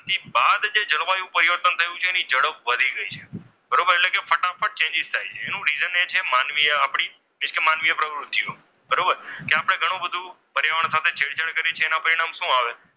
બાદ જે જળવાયું પરિવર્તન થયું છે એની ઝડપ વધી ગઈ છે બરોબર એટલે કે ફટાફટ chsnges થાય છે એનું reason એ છે કે માનવીએ આપણી માનવીય પ્રવૃત્તિઓ બરોબર કે આપણે ઘણું બધું પર્યાવરણ સાથે છેડછાડ કરી છે તેનું પરિણામ શું આવે?